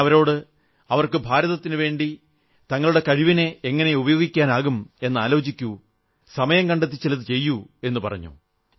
ഞാനവരോട് അവർക്ക് ഭാരതത്തിനുവേണ്ടി തങ്ങളെ കഴിവിനെ എങ്ങനെ ഉപയോഗിക്കാനാകും എന്നാലോചിക്കൂ സമയംകണ്ടെത്തി ചിലതു ചെയ്യൂ എന്നുപറഞ്ഞു